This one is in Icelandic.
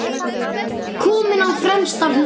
Kominn á fremsta hlunn.